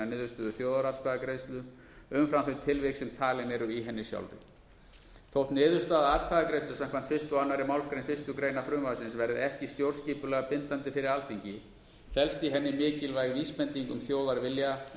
niðurstöðu þjóðaratkvæðagreiðslu umfram þau tilvik sem talin eru í henni sjálfri þótt niðurstaða atkvæðagreiðslu samkvæmt fyrstu og annarri málsgrein fyrstu grein frumvarpsins verði ekki stjórnskipulega bindandi fyrir alþingi felst í henni mikilvæg vísbending um þjóðarvilja